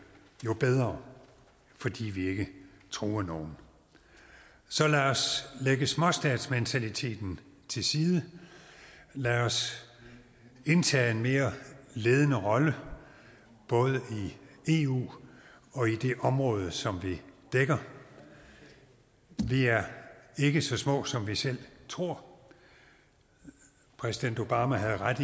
jo bedre fordi vi ikke truer nogen så lad os lægge småstatsmentaliteten til side lad os indtage en mere ledende rolle både i eu og i det område som vi dækker vi er ikke så små som vi selv tror præsident obama havde ret